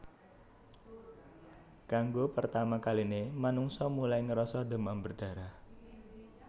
Kanggo pertama kaline manungsa mulai ngrasa demam berdarah